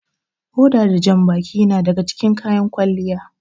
Hoda da janbaki yana daga cikin kayan kwalliya.